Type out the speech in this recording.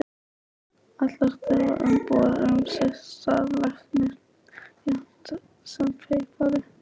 Allir þurfa umbúðir um sitt starf, læknir jafnt sem pípari.